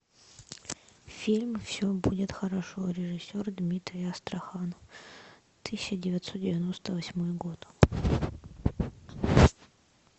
фильм все будет хорошо режиссер дмитрий астрахан тысяча девятьсот девяносто восьмой год